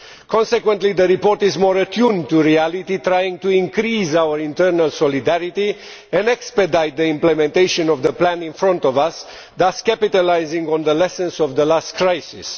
Consequently, the report is more attuned to reality, trying to increase our internal solidarity and expedite the implementation of the plan in front of us, thus capitalising on the lessons of the last crisis.